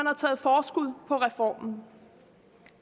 er taget forskud på reformen